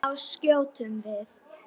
Þá skjótum við.